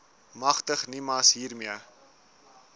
magtig nimas hiermee